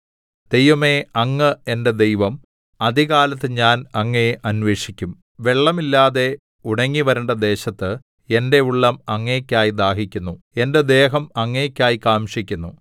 ദൈവമേ അങ്ങ് എന്റെ ദൈവം അതികാലത്ത് ഞാൻ അങ്ങയെ അന്വേഷിക്കും വെള്ളമില്ലാതെ ഉണങ്ങി വരണ്ട ദേശത്ത് എന്റെ ഉള്ളം അങ്ങേയ്ക്കായി ദാഹിക്കുന്നു എന്റെ ദേഹം അങ്ങേയ്ക്കായി കാംക്ഷിക്കുന്നു